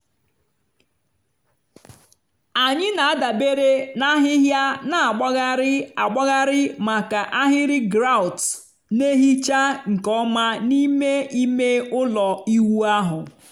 anyị na-adabere na ahịhịa na-agbagharị agbagharị maka ahịrị grout na-ehicha nke ọma n'ime ime ụlọ ịwụ ahụ.